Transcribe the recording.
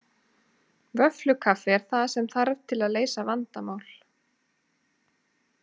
Vöfflukaffi er það sem þarf til að leysa vandamál